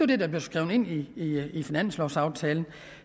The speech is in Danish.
det der blev skrevet ind i finanslovaftalen